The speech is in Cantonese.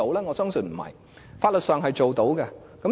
我相信不是，法律上是可以做到的。